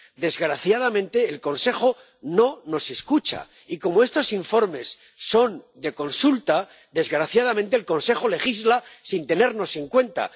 Desgraciadamente, el Consejo no nos escucha. Y como estos informes son de consulta, desgraciadamente, el Consejo legisla sin tenernos en cuenta.